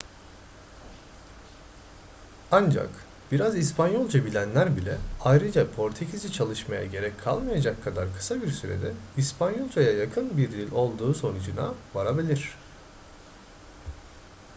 ancak biraz i̇spanyolca bilenler bile ayrıca portekizce çalışmaya gerek kalmayacak kadar kısa bir sürede i̇spanyolcaya yakın bir dil olduğu sonucuna varabilir